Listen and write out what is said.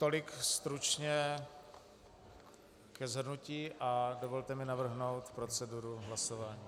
Tolik stručně ke shrnutí a dovolte mi navrhnout proceduru hlasování.